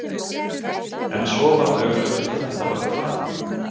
En svo varð augljóst að þetta var hvatning.